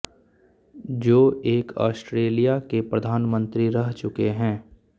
जो एक आस्ट्रेलिया के प्रधानमंत्री रह चुके है